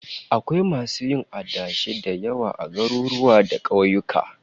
Akwai masu yin adashi da yawa a garuruwa da kauyuka